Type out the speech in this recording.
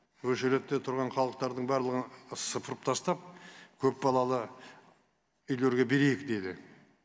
өшіредте тұрған халықтардың барлығын сыпырып тастап көпбалалы үйлерге берейік дейді